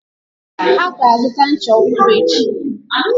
Ha ga-azụta ncha ọhụrụ echi.